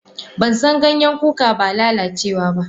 Bansan Ganyen kuka ba lalacewa ba.